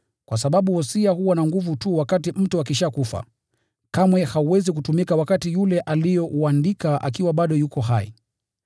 kwa sababu wosia huwa na nguvu tu wakati mtu ameshakufa; kamwe hauwezi kutumika wakati yule aliyeuandika bado yuko hai.